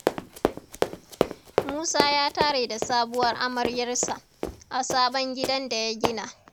Musa ya tare da sabuwar amaryarsa, a sabon gidan da ya gina.